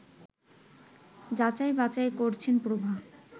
যাচাই-বাছাই করছেন প্রভা